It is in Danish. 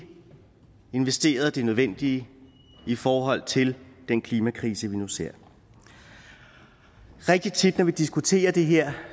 investeret det nødvendige i forhold til den klimakrise vi nu ser rigtigt tit når vi diskuterer det her